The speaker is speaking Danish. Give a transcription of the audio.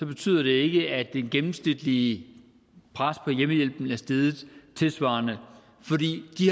betyder det ikke at det gennemsnitlige pres på hjemmehjælpen er steget tilsvarende for de